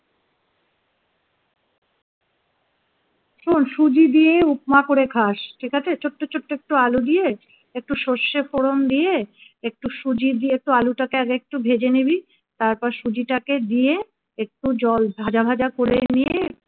শোন সুজি দিয়ে উপমা করে খাস ঠিক আছে ছোট্ট ছোট্ট একটু আলু দিয়ে একটু সরষে ফোড়ন দিয়ে একটু সুজি দিয়ে আলুটাকে আগে একটু ভেজে নিবি তারপর সুজিটাকে দিয়ে একটু জল ভাজা ভাজা করে নিয়ে